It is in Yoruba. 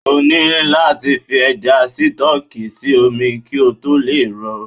O ni láti fish Ẹja Sítọ́ọ́kì sí omi kí ó tó lè rọ̀.